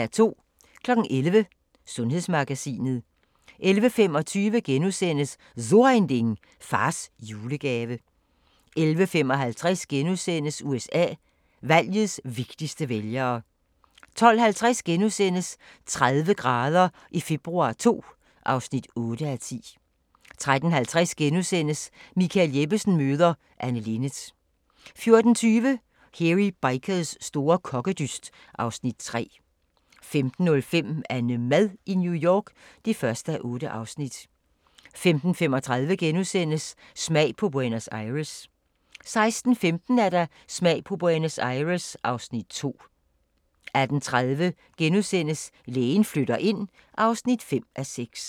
11:00: Sundhedsmagasinet 11:25: So Ein Ding: Fars julegave * 11:55: USA: Valgets vigtigste vælgere * 12:50: 30 grader i februar II (8:10)* 13:50: Michael Jeppesen møder ... Anne Linnet * 14:20: Hairy Bikers store kokkedyst (Afs. 3) 15:05: AnneMad i New York (1:8) 15:35: Smag på Buenos Aires * 16:15: Smag på Los Angeles (Afs. 2) 18:30: Lægen flytter ind (5:6)*